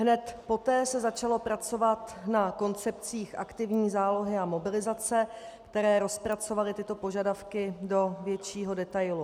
Hned poté se začalo pracovat na koncepcích aktivní zálohy a mobilizace, které rozpracovaly tyto požadavky do většího detailu.